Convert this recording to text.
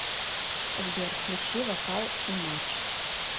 сбер включи вокал имадж